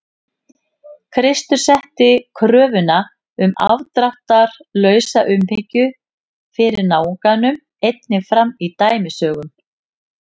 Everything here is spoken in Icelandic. Kristur setti kröfuna um afdráttarlausa umhyggju fyrir náunganum einnig fram í dæmisögum.